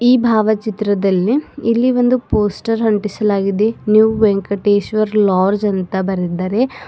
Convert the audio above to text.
ಈ ಭಾವಚಿತ್ರದಲ್ಲಿ ಇಲ್ಲಿ ಒಂದು ಪೋಸ್ಟರ್ ಅಂಟಿಸಲಾಗಿದೆ ನ್ಯೂ ವೆಂಕಟೇಶ್ವರ ಲಾಡ್ಜ್ ಅಂತ ಬರೆದಿದ್ದಾರೆ.